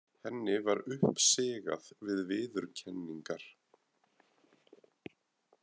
Henni var uppsigað við viðurkenningar.